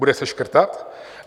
Bude se škrtat?